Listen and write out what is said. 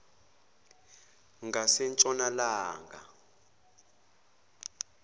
ngasentshonalanga